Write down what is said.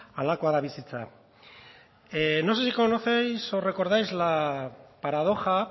halakoa da bizitza no sé si conocéis o recordáis la paradoja